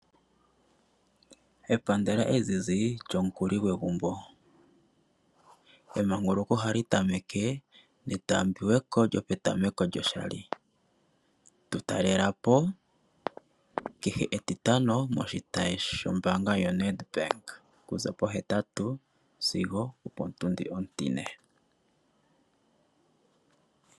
Epandela ezizi, lyomukuli gwegumbo, emanguluko oha li tameke netaambiweko lyopetameko lyoshali, tu talelapo kehe etitano moshitayi kehe mo Nedbank, okuza pohetatu sigo otundi ontine